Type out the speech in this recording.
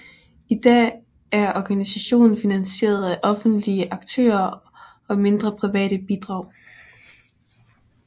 I dag er organisationen finansieret af offentlige aktører og mindre private bidrag